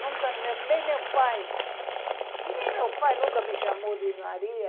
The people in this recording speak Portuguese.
Nunca... Nem meu pai... Nem meu pai nunca me chamou de Maria.